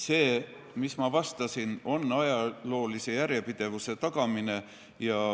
See, mida ma vastasin, oli see, et jutt on ajaloolise järjepidevuse tagamisest.